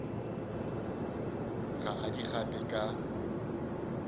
ga a di gape ka